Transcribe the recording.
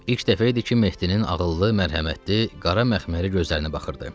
İlk dəfə idi ki, Mehdinin ağıllı, mərhəmətli, qara məxməri gözlərinə baxırdı.